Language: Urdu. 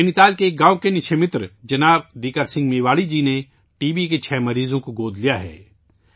نینی تال کے ایک گاؤں کے نکشے متر جناب دیکر سنگھ میواڑی جی نے ٹی بی کے چھ مریضوں کو گود لیا ہے